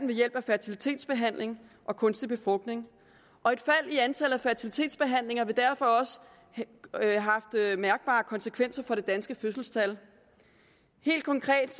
ved hjælp af fertilitetsbehandling og kunstig befrugtning og et fald i antallet af fertilitetsbehandlinger vil derfor også have mærkbare konsekvenser for det danske fødselstal helt konkret